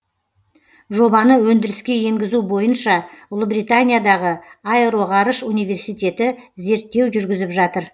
жобаны өндіріске енгізу бойынша ұлыбританиядағы аэроғарыш университеті зерттеу жүргізіп жатыр